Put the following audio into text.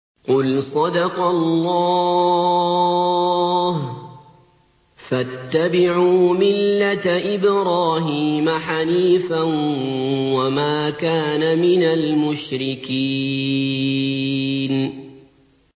قُلْ صَدَقَ اللَّهُ ۗ فَاتَّبِعُوا مِلَّةَ إِبْرَاهِيمَ حَنِيفًا وَمَا كَانَ مِنَ الْمُشْرِكِينَ